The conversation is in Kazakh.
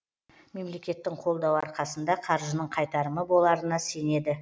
мемлекеттің қолдауы арқасында қаржының қайтарымы боларына сенеді